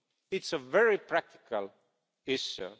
It's a very practical issue.